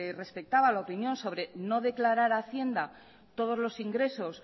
respectaba la opinión sobre no declarar a hacienda todos los ingresos